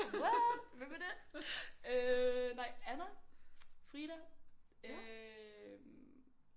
What hvem er det? Øh nej Anna Frida øh